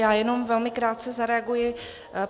Já jenom velmi krátce zareaguji.